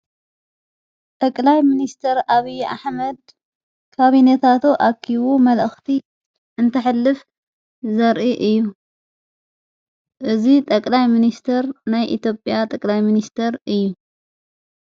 ጠቕላይ ምንስተር ኣብዪ ኣኅመድ ካቢኔታቶ ኣኪቡ መልእኽቲ እንተሕልፍ ዘርኢ እዩ እዙ ጠቕላይ ምንስተር ናይ ኢትጵያ ጠቅላይ ምንስተር እዩ።